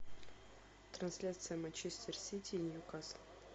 трансляция манчестер сити ньюкасл